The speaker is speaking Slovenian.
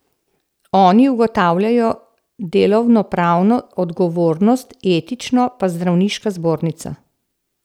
Oni ugotavljajo delovnopravno odgovornost, etično pa zdravniška zbornica.